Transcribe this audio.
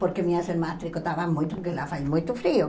Porque minhas irmãs tricotavam muito, porque lá faz muito frio.